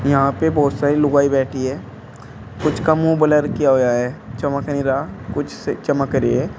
यहां पे बोहोत सारी लुगाई बैठी है। कुछ का मुंह बलर किया हुआ है। चमक नहीं रहा कुछ से चमक रही हैं।